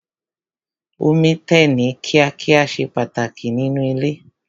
Omi tẹ̀ ní kíá kíá ṣe pàtàkì nínú ilé.